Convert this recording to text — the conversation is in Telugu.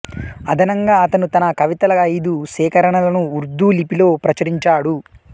అదనంగా అతను తన కవితల ఐదు సేకరణలను ఉర్దూ లిపిలో ప్రచురించాడు